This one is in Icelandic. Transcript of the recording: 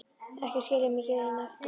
Ekki skilja mig hér eina eftir!